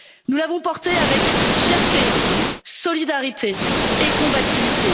Nous les avons portés avec fierté, solidarité et combativité.